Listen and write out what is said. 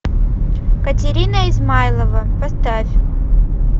катерина измайлова поставь